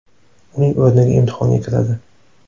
uning o‘rniga imtihonga kiradi.